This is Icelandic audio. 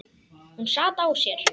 Hún sat á sér.